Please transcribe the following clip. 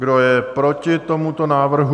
Kdo je proti tomuto návrhu?